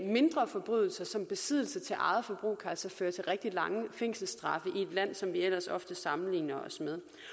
mindre forbrydelser som besiddelse til eget forbrug kan altså føre til rigtig lange fængselsstraffe i et land som vi ellers ofte sammenligner os